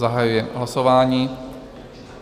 Zahajuji hlasování.